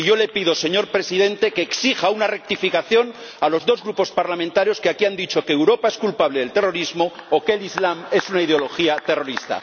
Y yo le pido, señor Presidente, que exija una rectificación a los dos grupos parlamentarios que aquí han dicho que Europa es culpable del terrorismo o que el islam es una ideología terrorista.